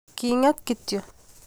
Kinget kityo